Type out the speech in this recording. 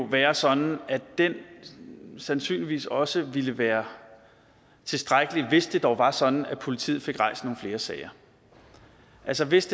være sådan at den sandsynligvis også ville være tilstrækkelig hvis det dog var sådan at politiet fik rejst nogle flere sager altså hvis